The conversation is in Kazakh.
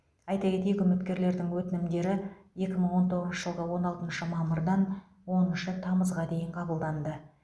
айта кетейік үміткерлердің өтінімдері екі мың он тоғызыншы жылғы он алтыншы мамырдан оныншы тамызға дейін қабылданды